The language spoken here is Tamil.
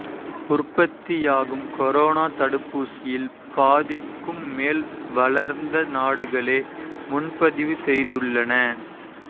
உற்பத்தியாகும் கொரோனா தடுப்பூசியில் பாதிக்கும் மேல் வளர்ந்த நாடுகளே முன்பதிவு செய்துள்ளன